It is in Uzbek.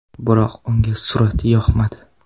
Biroq unga surat yoqmadi.